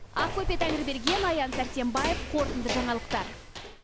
ақбөпе тәңірберген аян сәрсенбаев қорытынды жаңалықтар